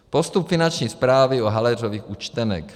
Postup Finanční správy u haléřových účtenek.